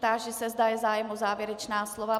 Táži se, zda je zájem o závěrečná slova.